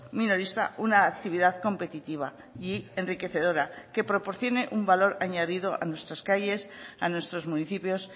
minorista una actividad competitiva y enriquecedora que proporcione un valor añadido a nuestras calles a nuestros municipios